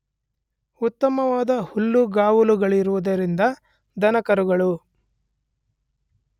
ಉತ್ತಮವಾದ ಹುಲ್ಲುಗಾವಲುಗಳಿರುವುದರಿಂದ ದನಕರುಗಳು